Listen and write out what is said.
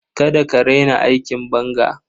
Kada ka raina aikin banga.